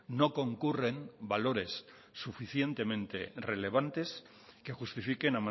no concurren valores suficientemente relevantes que justifiquen